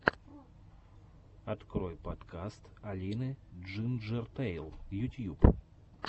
открой подкаст алины джинджертэйл ютьюб